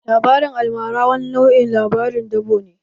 Labarin almara wani nau'in labaran dabo ne